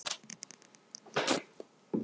Þín dóttir, Anna Sigrún.